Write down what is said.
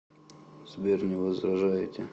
сбер не возражаете